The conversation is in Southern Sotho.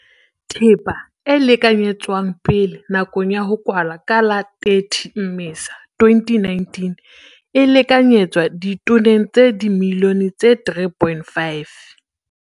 Thepa e lekanyetswang pele nakong ya ho kwala ka la 30 Mmesa 2019 e lekanyetswa ditoneng tsa dimilione tse 3,5.